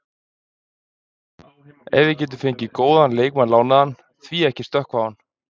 Ef við getum fengið góðan leikmann lánaðan, því ekki að stökkva á hann?